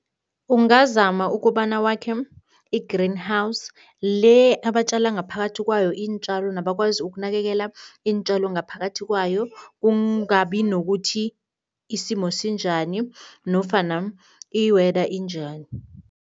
Ungazama ukobana wakhe i-greenhouse le abatjala ngaphakathi kwayo iintjalo nabakwazi ukunakekela iintjalo ngaphakathi kwayo, kungabi nokuthi isimo sinjani nofana i-weather injani.